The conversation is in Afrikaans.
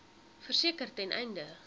verseker ten einde